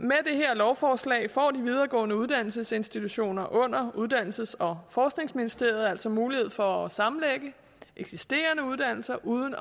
lovforslag får de videregående uddannelsesinstitutioner under uddannelses og forskningsministeriet altså mulighed for at sammenlægge eksisterende uddannelser uden